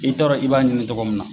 I t'a dɔn k'i b'a ɲini min na